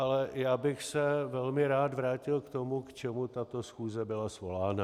Ale já bych se velmi rád vrátil k tomu, k čemu tato schůze byla svolána.